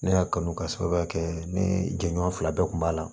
Ne y'a kanu ka sababuya kɛ ne jɛɲɔgɔn fila bɛɛ kun b'a la